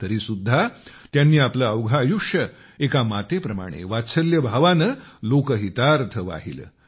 तरीसुद्धा त्यांनी आपले अवघे आयुष्य एका मातेप्रमाणे वात्सल्य भावाने लोकहितार्थ वाहिले